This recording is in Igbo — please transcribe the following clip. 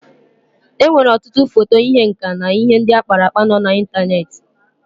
E nwere ọtụtụ foto ihe nka na ihe ndị akpara akpa nọ na ịntaneti.